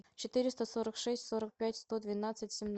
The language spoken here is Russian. четыреста сорок шесть сорок пять сто двенадцать семнадцать